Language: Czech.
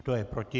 Kdo je proti?